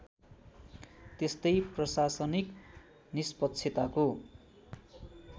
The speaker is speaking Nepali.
त्यस्तै प्रशासनिक निष्पक्षताको